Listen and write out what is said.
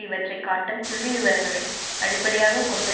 இவற்றை காட்டும் புள்ளிவிரங்களை அடிப்படையாக கொண்டு